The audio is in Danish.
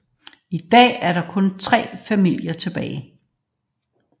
I dag er der kun tre familier tilbage